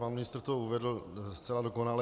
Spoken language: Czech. Pan ministr to uvedl zcela dokonale.